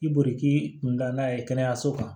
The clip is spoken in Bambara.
I borik'i kun da n'a ye kɛnɛyaso kan